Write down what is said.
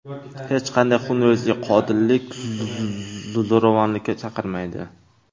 Hech qachon xunrezlik, qotillik, zo‘ravonlikka chaqirmaydi.